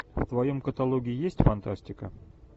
в твоем каталоге есть фантастика